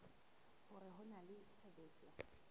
hore ho na le tshebetso